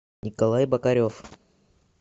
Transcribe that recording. николай бокарев